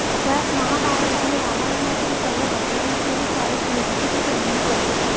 त्यात महाभारत आणि रामायणातील सर्व घटनांचीही तारीख निश्चिती त्यांनी केली